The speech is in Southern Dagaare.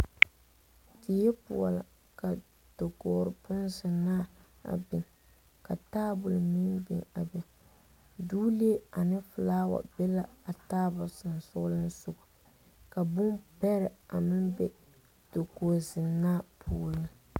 Die poɔ la ka dakogri bonzenaa biŋ ka tabol meŋ biŋ a be doolee ane felawase be la a tabol sensɔglensoga ka bombɛrɛ meŋ be dakogi zenaa puoriŋ.